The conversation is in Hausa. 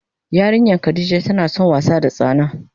Yarinyan Khadijah tana son wasa da tsana.